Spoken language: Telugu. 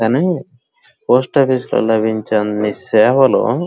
కానీ పోస్ట్ ఆఫీసు వాళ్ళు అందించే సేవలు --